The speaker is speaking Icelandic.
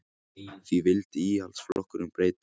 Því vildi Íhaldsflokkurinn breyta